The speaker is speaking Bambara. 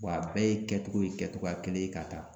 Wa a bɛɛ ye kɛtogo ye kɛtogoya kelen ye ka taa